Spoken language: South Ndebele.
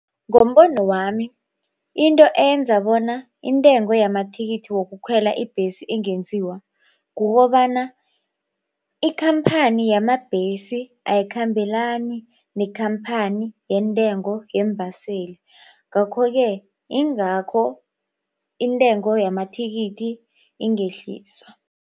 Ngombono wami into enza bona intengo yamathikithi wokukhwela ibhesi ingenziwa kukobana ikhamphani yamabhesi ayikhambelani nekhamphani yentengo yeembaseli. Ngakho-ke ingakho intengo yamathikithi ingehliswa.